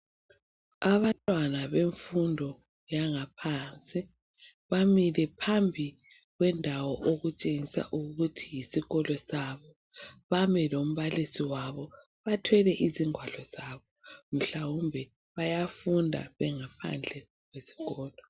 Abantwana bemfundo yaphansi bamile phambi kwendawo okutshengisa ukuthi yisikolo sabo bami lombalisi wabo bathwele izingwalo zabo mhlawumbe bayafunda bengaphandle kwesikolo.